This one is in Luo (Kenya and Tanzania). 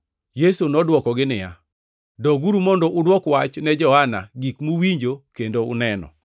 Yesu nodwokogi niya, “Doguru mondo udwok wach ne Johana gik muwinjo kendo uneno: